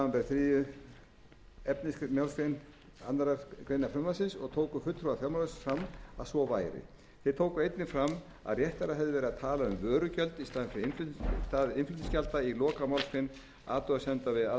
átvr samanber þriðju efnismgr annarrar greinar frumvarpsins og tóku fulltrúar fjármálaráðuneytis fram að svo væri þeir tóku einnig fram að réttara hefði verið að tala um vörugjöld í stað innflutningsgjalda í lokamálsgrein athugasemda við aðra grein frumvarpsins